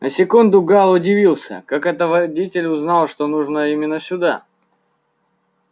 на секунду гаал удивился как это водитель узнал что нужно именно сюда